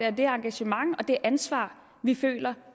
og det engagement og det ansvar vi føler